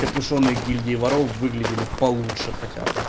капюшон и гильдии воров выглядели получше хотя бы